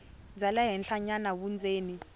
bya le henhlanyana vundzeni